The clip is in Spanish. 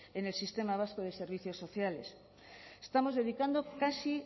en el sistema vasco de servicios sociales estamos dedicando casi